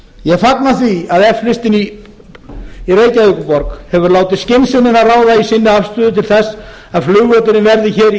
ég fagna því að f listinn í reykjavíkurborg hefur farið skynsemina ráða í sinni afstöðu til þess að flugvöllurinn verði hér í